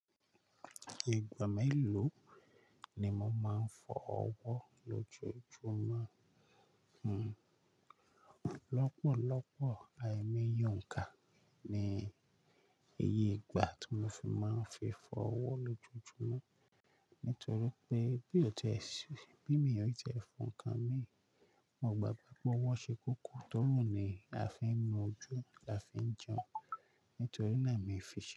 Ìgbà mélòó ni mo máa ń fọ ọwọ́ lójoojúmọ́? Hmm. Lọ́pọ̀lọ́pọ̀ àìmoye onka ni iye ìgbà tí mo fi máa ń fi fọ ọwọ́ lójoojúmọ́. Nítorí pé bí ò ti ṣe pín mi ọ̀rukọ́ fún nǹkan mi, mo gbàgbọ́ pé ọwọ́ ṣe kókó. Torina ni a fi ń mójú, a fi ń jẹun, nítorí náà mo fi ṣe.